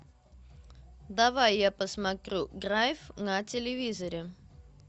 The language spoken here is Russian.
давай я посмотрю драйв на телевизоре